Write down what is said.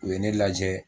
U ye ne lajɛ